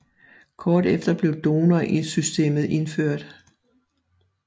Kort efter blev donor systemet indført